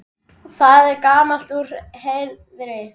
Það er gamalt úr Heiðni!